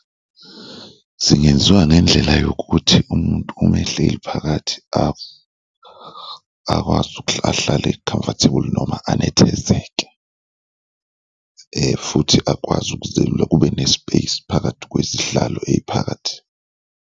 Zingenziwa ngendlela yokuthi umuntu uma ehleli phakathi akwazi ahlale comfortable noma anethezeke futhi akwazi ukuzelula, kube ne-space phakathi kwezihlalo ey'phakathi.